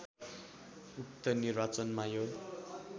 उक्त निर्वाचनमा यो